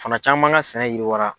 Fana caman ka sɛnɛ yiriwara.